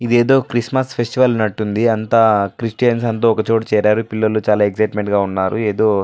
ఇది ఎదో Christmas festival ఉన్నట్టు ఉంది అంతా క్రిస్టియన్స్ అంతా ఒక చోటు చేరారు పిల్లలు చాల ఎక్ససిట్మెంట్ గా ఉన్నారు ఎదో --